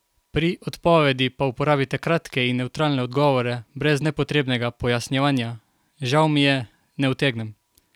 Pri odpovedi pa uporabite kratke in nevtralne odgovore brez nepotrebnega pojasnjevanja: "Žal mi je, ne utegnem.